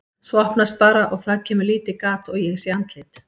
Svo opnast bara og það kemur lítið gat og ég sé andlit.